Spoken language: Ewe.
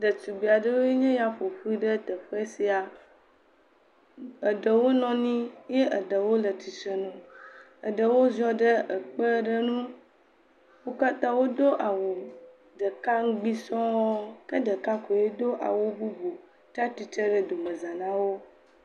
Ɖetugbi aɖewoe nye ya ƒoƒu ɖe teƒe sia. Eɖewo nɔ anyi eye eɖewo le tsitre nu. Eɖewo ziɔ ɖe ekpe aɖe nu. Wo katã wodo awu ɖeka ŋgbi sɔŋ ke ɖeka koe do awu bubu tsi atsitre ɖe domeza na wo.